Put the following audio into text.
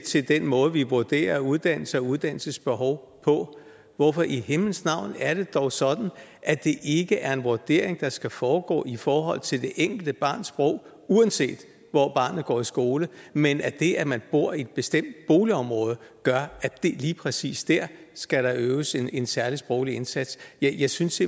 til den måde vi vurderer uddannelse og uddannelsesbehov på hvorfor i himlens navn er det dog sådan at det ikke er en vurdering der skal foregå i forhold til det enkelte barns sprog uanset hvor barnet går i skole men at det at man bor i et bestemt boligområde gør at der lige præcis der skal øves en en særlig sproglig indsats ja jeg synes